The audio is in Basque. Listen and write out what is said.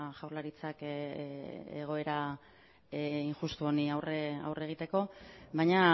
jaurlaritzak egoera injustu honi aurre egiteko baina